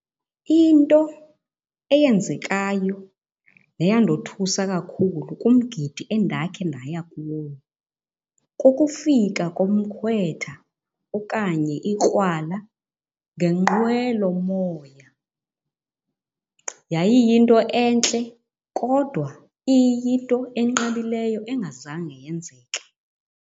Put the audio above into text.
Into eyenzekayo neyandothusa kakhulu kumgidi endakhe ndaya kuwo kukufika komkhwetha okanye ikrwala ngenqwelomoya. Yayiyinto entle kodwa iyinto enqabileyo engazange yenzeka.